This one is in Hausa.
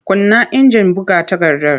Kunna injin buga takardar!